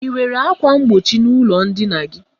I nwere ákwà mgbochi n'ụlọ ndina gị?